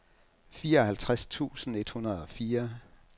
fireoghalvtreds tusind et hundrede og fire